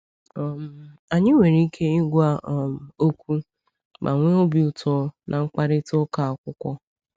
um Anyị nwere ike ịgwa um okwu ma nwee obi ụtọ na mkparịta ụka akwụkwọ.